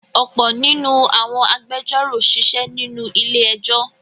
ọ̀pọ̀ nínú àwọn agbẹjọ́rò sisé nínú ilé-ẹjọ́.